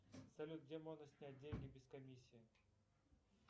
салют где можно снять деньги без комиссии